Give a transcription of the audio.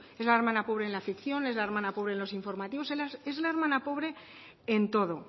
es la hermana pobre en la ficción es la hermana pobre en los informativos es la hermana pobre en todo